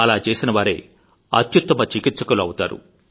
అలా చేసిన వారే అత్యుత్తమ చికిత్సకులు అవుతారు